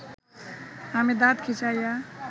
আমি দাত খিঁচাইয়া